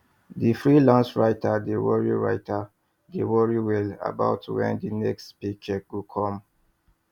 di freelance writer dey worry writer dey worry well about wen di next paycheck go come